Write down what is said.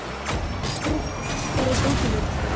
Frigg, hvar er dótið mitt?